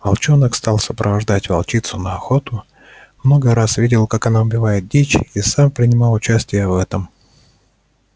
волчонок стал сопровождать волчицу на охоту много раз видел как она убивает дичь и сам принимал участие в этом